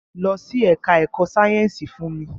Lọ sí ẹka ẹ̀kọ́ sáyẹnsì fún mi!